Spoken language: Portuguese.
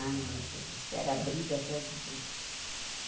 Ai, meu Deus do céu, era briga atrás de briga.